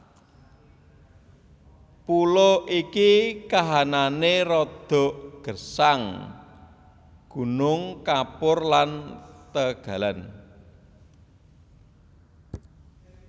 Pulo iki kahanané rada gersang gunung kapur lan tegalan